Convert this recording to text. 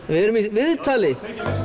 við erum í viðtali